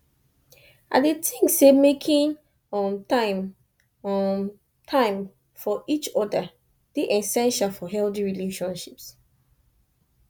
i dey think say making um time um time for each oda dey essential for healthy relationships